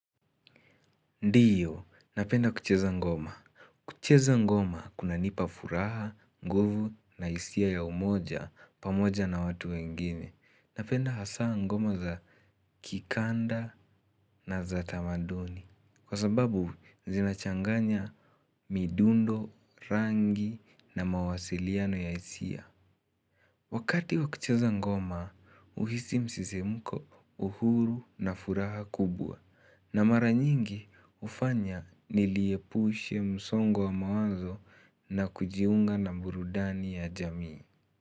Ndiyo, napenda kucheza ngoma. Kucheza ngoma kunanipa furaha, nguvu na hisia ya umojapamoja na watu wengine. Napenda hasa ngoma za kikanda na za tamaduni. Kwa sababu, zinachanganya midundo, rangi na mawasiliano ya hisia. Wakati wakucheza ngoma huhisi msisimko uhuru na furaha kubwa na mara nyingi hufanya nijiepushe msongo wa mawazo na kujiunga na burudani ya jamii.